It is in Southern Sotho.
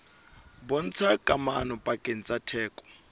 bontshang kamano pakeng tsa theko